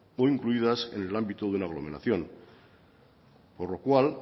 o incluidas en el ámbito de una aglomeración por lo cual